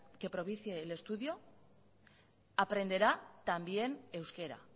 que propicie el estudio aprenderá también euskera